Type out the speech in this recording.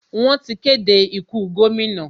Wọ́n ti kéde ikú gómìnà.